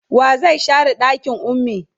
wa zai share ɗakin ummi?